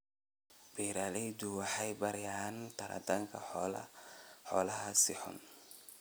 Beeraleydu waxay baranayaan taranta xoolaha si hufan.